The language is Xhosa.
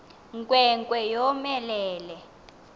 nkwe nkwe yomelele